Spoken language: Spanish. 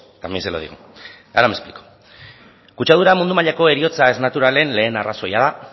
también se lo digo ahora me explico kutsadura mundu mailako heriotza ez naturalen lehen arrazoia da